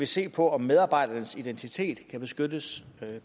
se på om medarbejdernes identitet kan beskyttes